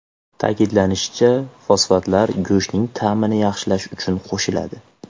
Ta’kidlanishicha, fosfatlar go‘shtning ta’mini yaxshilash uchun qo‘shiladi.